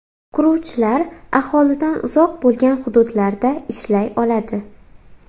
Quruvchilar aholidan uzoq bo‘lgan hududlarda ishlay oladi.